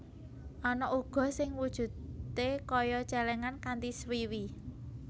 Ana uga sing wujudé kaya cèlèngan kanthi swiwi